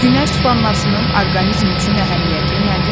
Günəş vannasının orqanizm üçün əhəmiyyəti nədir?